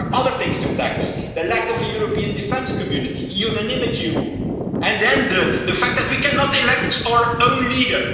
There are other things to tackle the lack of a European Defence Community, the unanimity rule, and the fact that we cannot elect our own leader.